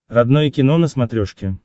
родное кино на смотрешке